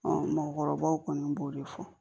mɔgɔkɔrɔbaw kɔni b'o de fɔ